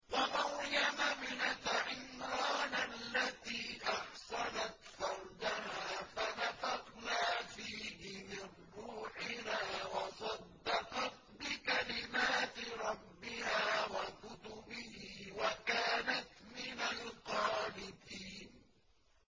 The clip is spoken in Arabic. وَمَرْيَمَ ابْنَتَ عِمْرَانَ الَّتِي أَحْصَنَتْ فَرْجَهَا فَنَفَخْنَا فِيهِ مِن رُّوحِنَا وَصَدَّقَتْ بِكَلِمَاتِ رَبِّهَا وَكُتُبِهِ وَكَانَتْ مِنَ الْقَانِتِينَ